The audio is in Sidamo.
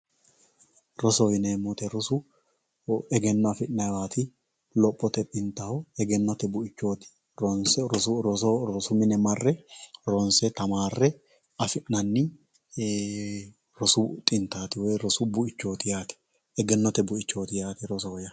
rosoho yineemo woyite rosu egenno afi'nayiiwaati lophote xintaho egennote bu"ichooti ronse roso rosu mine marre tamaarre afi'nanni rosu xintaati woye rosu bu"ichooti yaate egennote bu"ichooti yaate rosoho yaa.